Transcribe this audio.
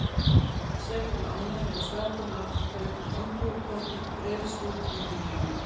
Sér til ánægju finnur strákurinn hvernig andúðin á Kolbeini breiðist út um líkamann.